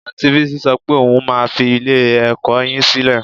Anti Bísí sọ pé òun máa fi ilé-ẹ̀kọ́ yín sílẹ̀